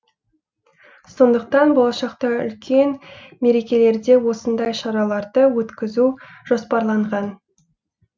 сондықтан болашақта үлкен мерекелерде осындай шараларды өткізу жоспарланған